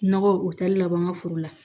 Nɔgɔ u tɛ labɔ an ka foro la